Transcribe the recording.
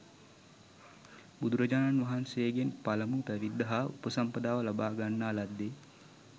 බුදුරජාණන් වහන්සේගෙන් පළමු පැවිද්ද හා උපසම්පදාව ලබාගන්නා ලද්දේ